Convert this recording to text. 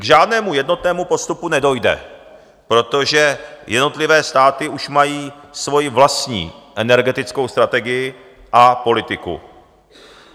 K žádnému jednotnému postupu nedojde, protože jednotlivé státy už mají svoji vlastní energetickou strategii a politiku.